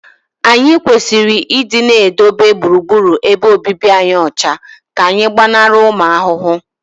anyị kwesịrị ịdị na-edobe gburugburu ebe obibi anyị ọcha ka anyị gbanarị ụmụ ahụhụ